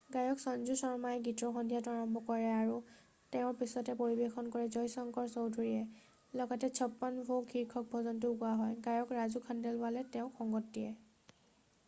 গায়ক সঞ্জু শৰ্মাই গীতৰ সন্ধিয়াটো আৰম্ভ কৰে আৰু তেওঁৰ পাছতে পৰিৱেশন কৰে জয় শংকৰ চৌধুৰীয়ে লগতে চপ্পন ভোগ শীৰ্ষক ভজনটোও গোৱা হয় গায়ক ৰাজু খণ্ডেলৱালে তেওঁক সংগত কৰে